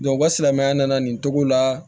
u ka silamɛya nana nin cogo la